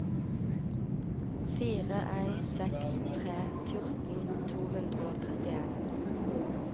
fire en seks tre fjorten to hundre og trettien